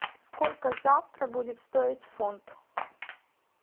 сколько завтра будет стоить фунт